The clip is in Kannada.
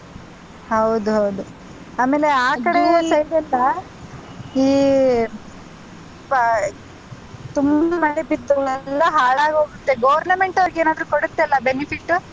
ಹೌದು ಹೌದು ಆಮೇಲೆ ಆ ಕಡೆ side ಎಲ್ಲ ಈ ಪ~ ತುಂಬಾ ಮಳೆ ಬಿದ್ದು ಎಲ್ಲ ಹಾಳಾಗ್ ಹೋಗುತ್ತೆ Government ಅವ್ರಿಗೆಲ್ಲ ಕೊಡುತ್ತಲ್ಲ ಅಲ್ವಾ benefit ಉ.